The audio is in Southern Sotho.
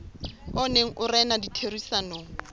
o neng o rena ditherisanong